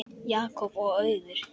Jakob og Auður.